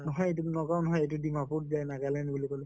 নহয় এইটো নগাঁৱ নহয় ডিমাপুৰ যায় নাগালেন্ড বুলি কʼলো